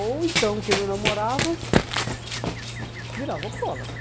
Ou então quem não namorava virava alcoólatra.